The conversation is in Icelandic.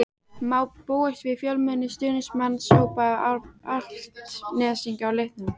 Má búast við fjölmennum stuðningsmannahópi Álftnesinga á leiknum?